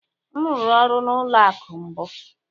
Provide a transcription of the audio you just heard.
M rụrụ ọrụ n'ụlọ akụ̀ mbụ.